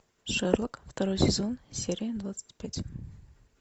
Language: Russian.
шерлок второй сезон серия двадцать пять